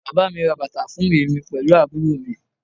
Bàbá mi ra bàtà fún èmi pẹ̀lú àbúrò mi